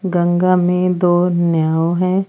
गंगा में दो नैव है।